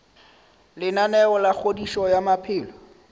lenaneo la kgodišo ya maphelo